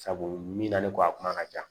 Sabu mina ni kɔ a kuma ka jan